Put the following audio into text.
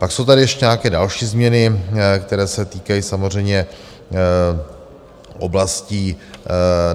Pak jsou tady ještě nějaké další změny, které se týkají samozřejmě oblastí...